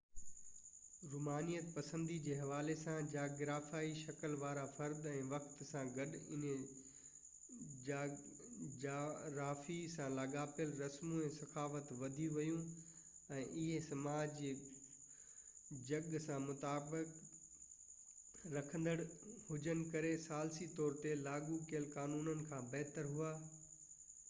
رومانيت پسندي جي حوالي سان جاگرافيائي شڪل وارا فرد ۽ وقت سان گڏ انهي جغرافي سان لاڳاپيل رسمون ۽ ثقافت وڌي ويون ۽ اهي سماج جي جڳهه سان مطابقت رکندڙ هجن ڪري ثالثي طور تي لاڳو ڪيل قانونن کان بهتر هئا